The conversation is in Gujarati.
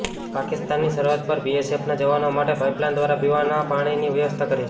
પાકિસ્તાનની સરહદ પર બીએસએફના જવાનો માટે પાઈપલાઈન દ્વારા પીવાના પાણીની વ્યવસ્થા કરી